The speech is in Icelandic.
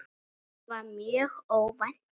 Það var mjög óvænt.